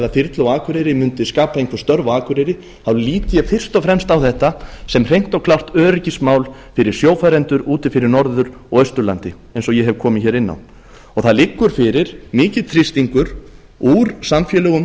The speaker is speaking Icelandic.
þyrlu á akureyri mundi skapa einhver störf á akureyri lít ég fyrst og fremst á þetta sem hreint og klárt öryggismál fyrir sjófarendur úti fyrir norður og austurlandi eins og ég hef komið hér inn á það liggur fyrir mikill þrýstingur úr samfélögum